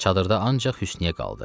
Çadırda ancaq Hüsnüyyə qaldı.